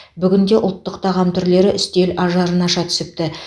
бүгін де ұлттық тағам түрлері үстел ажарын аша түсіпті